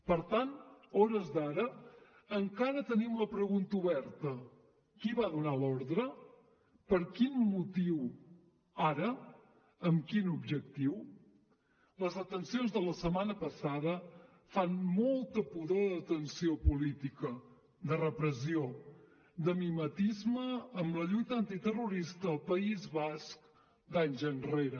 per tant a hores d’ara encara tenim la pregunta oberta qui va donar l’ordre per quin motiu ara amb quin objectiu les detencions de la setmana passada fan molta pudor de detenció política de repressió de mimetisme amb la lluita antiterrorista al país basc d’anys enrere